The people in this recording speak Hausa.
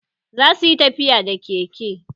Za su yi tafiya da keke